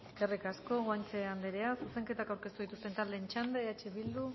eskerrik asko guanche anderea zuzenketak aurkeztu dituzten taldeen txanda eh bildu